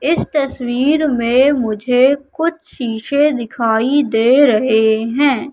इस तस्वीर में मुझे कुछ शीशे दिखाई दे रहे हैं।